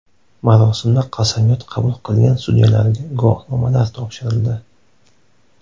Marosimda qasamyod qabul qilgan sudyalarga guvohnomalar topshirildi.